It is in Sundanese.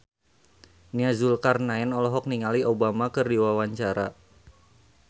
Nia Zulkarnaen olohok ningali Obama keur diwawancara